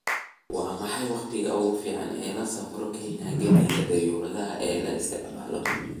waa maxay wakhtiga ugu fiican ee loo safro kenya gegida dayuuradaha ee la isticmaalayo